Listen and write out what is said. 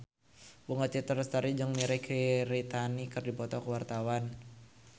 Bunga Citra Lestari jeung Mirei Kiritani keur dipoto ku wartawan